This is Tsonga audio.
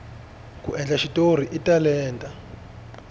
ku endla xitori i talenta